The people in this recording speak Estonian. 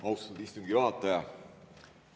Austatud istungi juhataja!